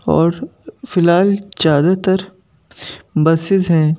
और फिलहाल ज्यादातर बसेस हैं।